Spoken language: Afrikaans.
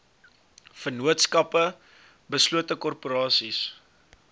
vennootskappe beslote korporasies